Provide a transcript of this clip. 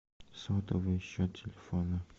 сотовый счет телефона